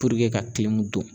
ka don.